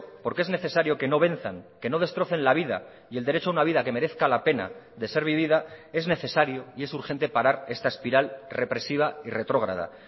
porque es necesario que no venzan que no destrocen la vida y el derecho a una vida que merezca la pena de ser vivida es necesario y es urgente parar esta espiral represiva y retrógrada